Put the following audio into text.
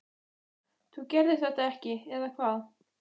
þú gerðir þetta ekki, eða hvað?